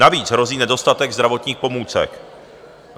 Navíc hrozí nedostatek zdravotních pomůcek.